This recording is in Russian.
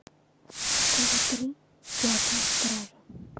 тв три пятая стража